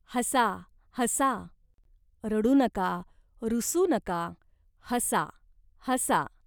"हसा हसा. रडू नका, रुसू नका, हसा, हसा.